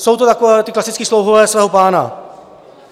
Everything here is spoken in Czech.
Jsou to takoví ti klasičtí slouhové svého pána.